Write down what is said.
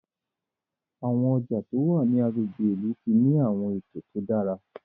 Àwọn ọjà tó wá ní àgbègbè ilú tí ní awọn eto tó dára